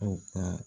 Aw ka